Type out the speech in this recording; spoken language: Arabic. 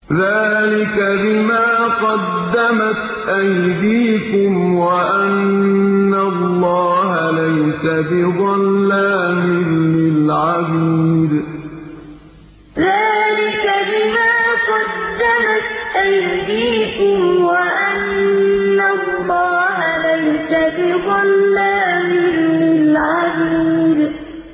ذَٰلِكَ بِمَا قَدَّمَتْ أَيْدِيكُمْ وَأَنَّ اللَّهَ لَيْسَ بِظَلَّامٍ لِّلْعَبِيدِ ذَٰلِكَ بِمَا قَدَّمَتْ أَيْدِيكُمْ وَأَنَّ اللَّهَ لَيْسَ بِظَلَّامٍ لِّلْعَبِيدِ